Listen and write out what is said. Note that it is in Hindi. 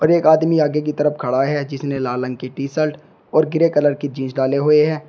एक आदमी आगे की तरफ खड़ा है जिसने लाल रंग की टी शर्ट और ग्रे कलर की जींस डाले हुए हैं।